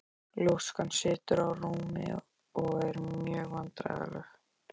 Ljóskan situr á rúmi og er mjög vandræðaleg.